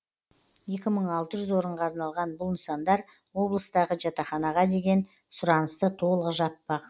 екі мың алты жүз орынға арналған бұл нысандар облыстағы жатақханаға деген сұранысты толық жаппақ